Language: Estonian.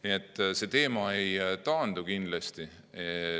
Nii et see teema ei taandu kindlasti.